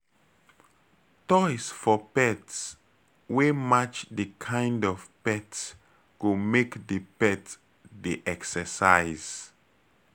Toys for pet wey match di kind of pet go make di pet dey exercise